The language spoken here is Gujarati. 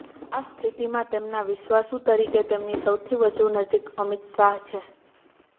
આ સ્થિતિમાં તેમના વિશ્વાસુ તરીકે તેમની સૌથી વધુ નજીક અમિત શાહ છે